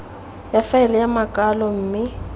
ya faele ya makwalo mme